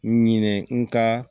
Ɲinɛ n ka